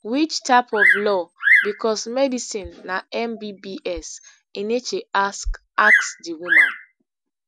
which type of law because medicine na mbbs enenche ask ask di woman